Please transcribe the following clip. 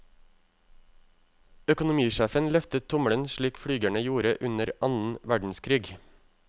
Økonomisjefen løftet tommelen slik flygerne gjorde under annen verdenskrig.